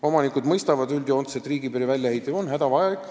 Omanikud mõistavad üldjoontes, et riigipiiri väljaehitamine on hädavajalik.